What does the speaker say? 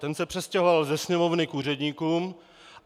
Ten se přestěhoval ze Sněmovny k úředníkům.